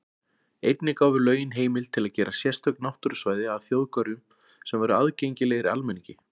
Einnig gáfu lögin heimild til að gera sérstök náttúrusvæði að þjóðgörðum sem væru aðgengilegir almenningi.